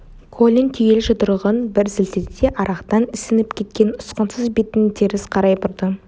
колин түюлі жұдырығын бір сілтеді де арақтан ісініп кеткен ұсқынсыз бетін теріс қарай бұрды